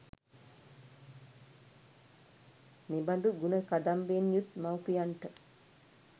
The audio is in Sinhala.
මෙබඳු ගුණ කදම්බයෙන් යුත් මව්පියන්ට